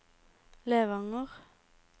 Levanger